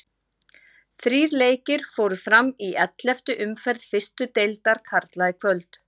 Þrír leikir fóru fram í elleftu umferð fyrstu deildar karla í kvöld.